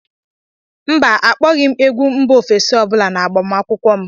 mba, akpọghị m egwu mba ofesi ọ bụla n'agbamakwụkwọ m